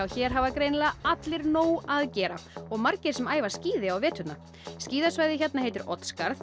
hér hafa greinilega allir nóg að gera og margir sem æfa skíði á veturna skíðasvæðið hérna heitir Oddsskarð